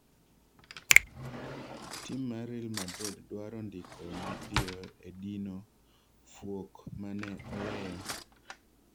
Tim mar real madrid dwaro ndiko ma piyo e dino fuok mane oweyo